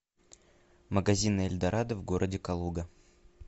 магазины эльдорадо в городе калуга